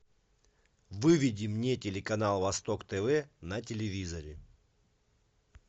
выведи мне телеканал восток тв на телевизоре